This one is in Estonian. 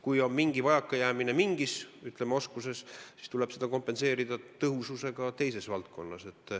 Kui on mingi vajakajäämine mingis oskuses, siis tuleb seda kompenseerida tõhususega teises valdkonnas.